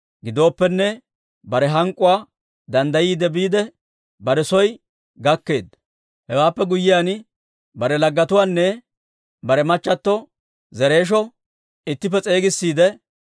Gidooppenne, bare hank'k'uwaa danddayiide biide, bare soo gakkeedda. Hewaappe guyyiyaan, bare laggetuwaanne bare machchato Zereesho ittippe s'eegissiide,